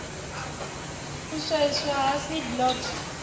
u swaiwa ha seed lot